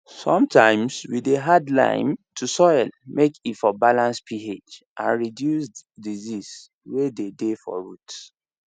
sometimes we dey add lime to soil make e for balance ph and reduce disease way dey dey for root